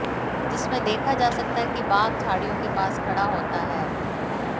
जिसमें देखा जा सकता है कि बाघ झाड़ियों के पास खड़ा होता है